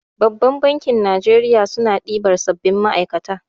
Babbar bankin Najeriya suna ɗiban sabbin ma'aikata.